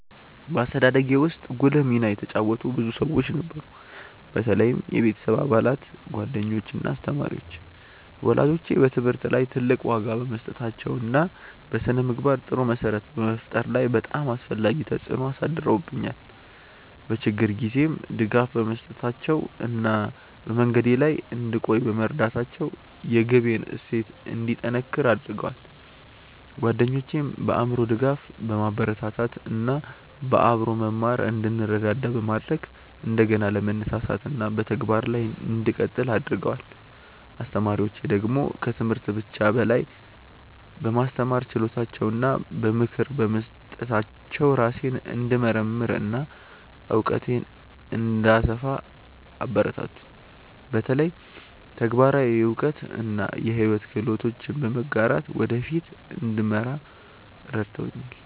በአስተዳደጌ ውስጥ ጉልህ ሚና የተጫወቱ ብዙ ሰዎች ነበሩ፣ በተለይም የቤተሰብ አባላት፣ ጓደኞች እና አስተማሪዎች። ወላጆቼ በትምህርት ላይ ትልቅ ዋጋ በመስጠታቸው እና በስነ-ምግባር ጥሩ መሰረት በመፍጠር ላይ በጣም አስፈላጊ ተጽዕኖ አሳድረውብኛል፤ በችግር ጊዜም ድጋፍ በመስጠታቸው እና በመንገዴ ላይ እንድቆይ በመርዳታቸው የግቤን እሴት እንዲጠነክር አድርገዋል። ጓደኞቼም በአእምሮ ድጋፍ፣ በማበረታታት እና በአብሮ መማር እንድንረዳዳ በማድረግ እንደገና ለመነሳሳት እና በተግባር ላይ እንድቀጥል አግርገደዋል። አስተማሪዎቼ ደግሞ ከትምህርት ብቻ በላይ በማስተማር ችሎታቸው እና በምክር በመስጠታቸው ራሴን እንድመርምር እና እውቀቴን እንድሰፋ አበረታቱኝ፤ በተለይ ተግባራዊ እውቀት እና የሕይወት ክህሎቶችን በመጋራት ወደ ፊት እንድመራ ረድተውኛል።